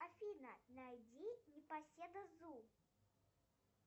афина найди непоседа зу